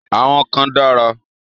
Àwọn kan dára.